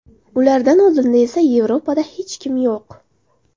Ulardan oldinda esa Yevropada hech kim yo‘q.